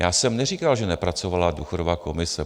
Já jsem neříkal, že nepracovala důchodová komise.